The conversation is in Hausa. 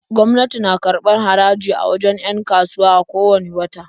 Gwamnati na karbar haraji a wajen 'yan kasuwa a ko wanne wata.